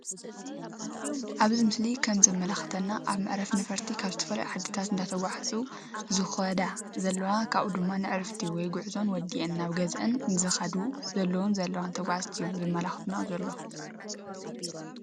ኣብዚ ምስሊ ከም ዘመላክተና ኣብ መዕረፎ ነፈርቲ ካበ ዝተፈላለዩ ዓዲታት እንዳተጓዓዛ ዝከዳ ዘለዋ ካብኡ ድማ ንዕረፍቲ ወይ ጉዕዘአን ወዲአን ናብ ገዝአን ዝከዱ ዘለዋን ዘለዉን ተጓዝቲ እዮም ዘመላክተና ዘሎ።